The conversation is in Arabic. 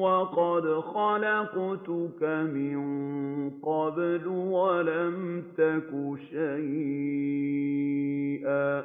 وَقَدْ خَلَقْتُكَ مِن قَبْلُ وَلَمْ تَكُ شَيْئًا